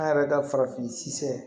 An yɛrɛ ka farafin sisɛ